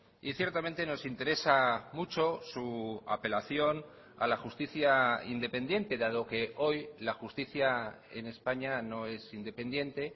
y ciertamente nos interesa mucho su apelación a la justicia independiente dado que hoy la justicia en españa no es independiente